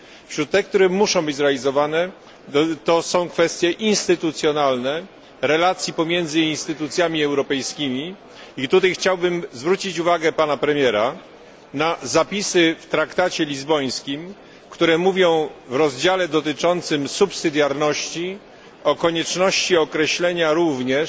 Wśród tych, które muszą być zrealizowane są kwestie instytucjonalne relacji pomiędzy instytucjami europejskimi, i tutaj chciałbym zwrócić uwagę pana premiera na zapisy w traktacie lizbońskim, które mówią w rozdziale dotyczącym subsydiarności o konieczności określenia również